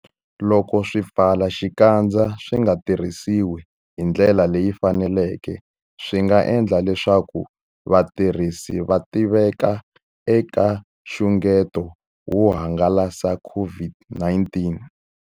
Loko swipfalaxikandza swi nga tirhisiwi hi ndlela leyi faneleke, swi nga endla leswaku vatirhisi va tiveka eka nxungeto wo hangalasa COVID-19.